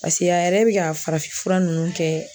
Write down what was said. a yɛrɛ bɛ ka farafin fura ninnu kɛ